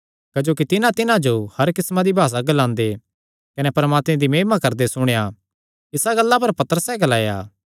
क्जोकि तिन्हांतिन्हां जो हर किस्मां दी भासा ग्लांदे कने परमात्मे दी महिमा करदे सुणेया इसा गल्ला पर पतरसैं ग्लाया